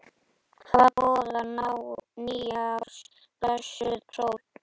Hvað boðar nýárs blessuð sól?